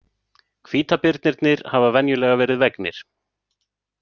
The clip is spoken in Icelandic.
Hvítabirnirnir hafa venjulega verið vegnir.